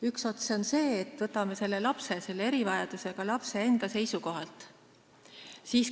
Üks ots on see, kui me vaatame seda selle lapse, erivajadusega lapse enda seisukohalt.